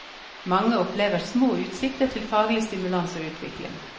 Mange opplever små utsikter til faglig stimulans og utvikling.